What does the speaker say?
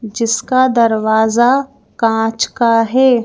जिसका दरवाजा कांच का है।